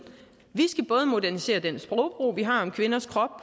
vi skal både modernisere den sprogbrug vi har om kvinders krop